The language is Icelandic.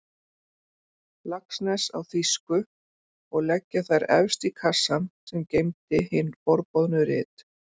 Laxness á þýsku og leggja þær efst í kassann sem geymdi hin forboðnu rit.